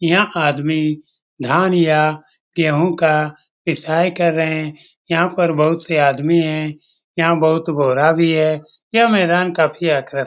यह आदमी धान या गेहूं का पिसाई कर रहें यहाँ पर बहुत से आदमी हैं। यहाँ बहुत बोरा भी है। यह मैदान काफ़ी आकर --